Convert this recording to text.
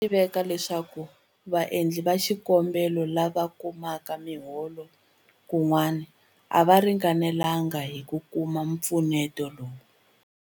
Swa tiveka leswaku vaendli va xikombelo lava kumaka miholo kun'wana a va ringanelanga hi ku kuma mpfuneto lowu.